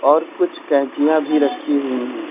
और कुछ कैंचियां भी रखी हुई हैं।